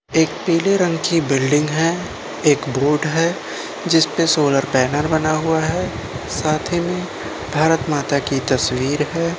एक पीले रंग की बिल्डिंग है एक बोर्ड है जिसपे सोलर पैनल बना हुआ है। साथ ही में भारत माता की तस्वीर है।